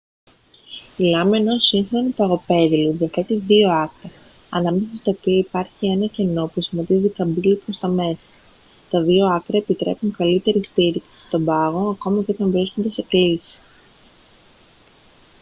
η λάμα ενός σύγχρονου παγοπέδιλου διαθέτει δύο άκρα ανάμεσα στα οποία υπάρχει ένα κενό που σχηματίζει καμπύλη προς τα μέσα τα δύο άκρα επιτρέπουν καλύτερη στήριξη στον πάγο ακόμη και όταν βρίσκονται σε κλίση